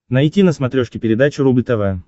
найти на смотрешке передачу рубль тв